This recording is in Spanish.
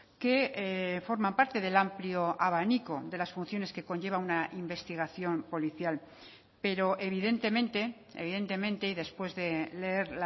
que forman parte del amplio abanico de las funciones que conlleva una investigación policial pero evidentemente evidentemente y después de leer